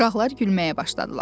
Uşaqlar gülməyə başladılar.